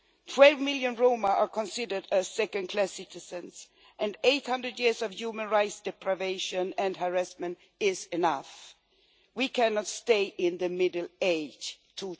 Twelve million Roma are considered second class citizens, and 800 years of human rights deprivation and harassment is enough. We cannot stay in the Middle Ages in